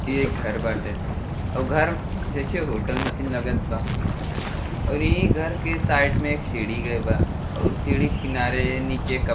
इ एक घर बाटे और घर जैसे होटल मतीन लगत बा और इहि घर के साइड में एक सीढ़ी गइलबा और सीढ़ी के किनारे निचे कप --